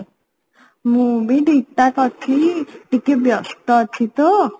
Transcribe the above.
ମୁଁ ବି ଠିକଠାକ ଅଛି ଟିକେ ବ୍ୟସ୍ତ ଅଛି ତ